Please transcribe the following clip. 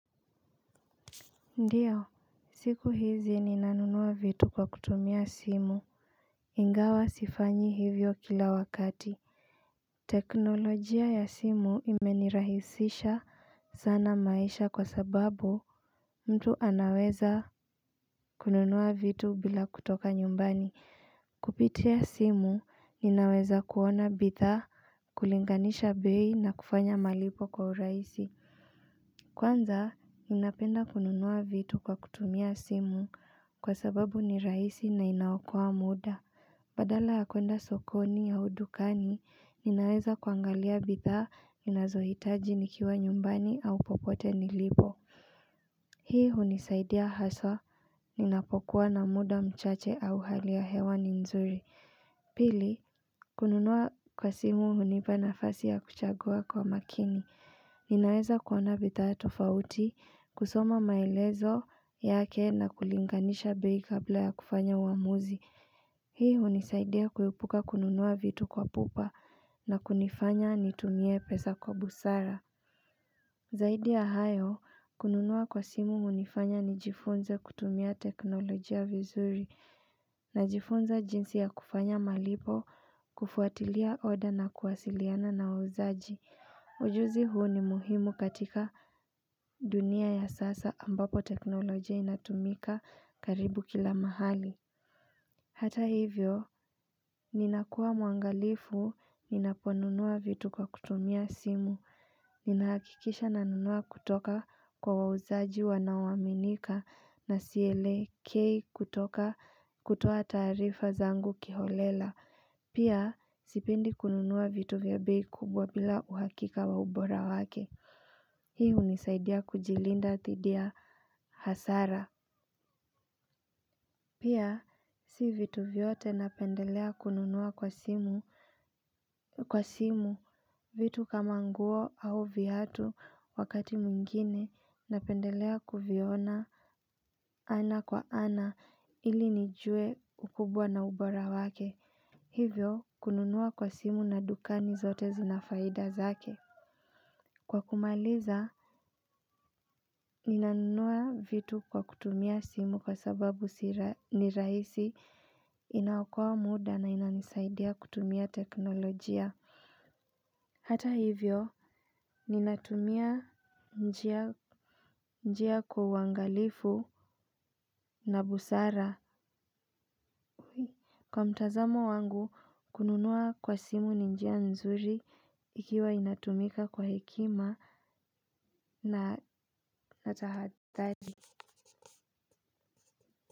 Ndiyo siku hizi ninanunuwa vitu kwa kutumia simu. Ingawa sifanyi hivyo kila wakati teknolojia ya simu imenirahisisha sana maisha kwa sababu mtu anaweza kununuwa vitu bila kutoka nyumbani kupitia simu ninaweza kuona bitha kulinganisha bei na kufanya malipo kwa uraisi. Kwanza, ninapenda kununua vitu kwa kutumia simu kwa sababu ni raisi na inaokoa muda. Badala ya kuenda sokoni au dukani, ninaweza kuangalia bitha, ninazohitaji nikiwa nyumbani au popote ni libo. Hii hunisaidia haswa, ninapokuwa na muda mchache au hali ya hewa ni nzuri. Pili, kununua kwa simu hunipa nafasi ya kuchagua kwa makini. Ninaeza kuona bita tofauti, kusoma maelezo yake na kulinganisha bei kabla ya kufanya uamuzi. Hii unisaidia kuepuka kununua vitu kwa pupa na kunifanya nitumie pesa kwa busara. Zaidi ya hayo, kununua kwa simu unifanya nijifunze kutumia teknolojia vizuri na jifunze jinsi ya kufanya malipo kufuatilia oda na kuwasiliana na wauzaji. Ujuzi huu ni muhimu katika dunia ya sasa ambapo teknolojia inatumika karibu kila mahali. Hata hivyo, ninakuwa mwangalifu ninaponunuwa vitu kwa kutumia simu. Ninahakikisha nanunuwa kutoka kwa wauzaji wanaowaminika na sielekei kutoka kutoa tarifa zangu kiholela. Pia, sipendi kununuwa vitu vya bei kubwa bila uhakika wa ubora wake. Hii unisaidia kujilinda thidi ya hasara. Pia, si vitu vyote napendelea kununuwa kwa simu vitu kama nguo au viatu wakati muingine napendelea kuviona ana kwa ana ili nijue ukubwa na ubora wake. Hivyo kununua kwa simu na dukani zote zinafaida zake. Kwa kumaliza, ninanunua vitu kwa kutumia simu kwa sababu ni raisi inaokoa muda na inaisaidia kutumia teknolojia. Hata hivyo, ninatumia njia kwa uangalifu na busara. Kwa mtazamo wangu kununua kwa simu ni njia nzuri ikiwa inatumika kwa hekima na tahadhali.